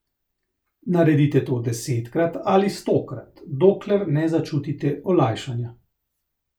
Naredite to desetkrat ali stokrat, dokler ne začutite olajšanja.